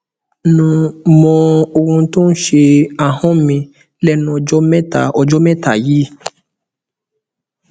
nò mọ ohun tó ń ṣe ahọn mi lẹnu ọjọ mẹta ọjọ mẹta yìí